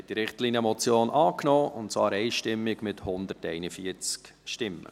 Sie haben diese Richtlinienmotion angenommen, und zwar einstimmig mit 141 Stimmen.